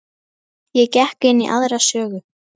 Ég gekk inn í aðra sögu.